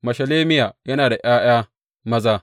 Meshelemiya yana da ’ya’ya maza.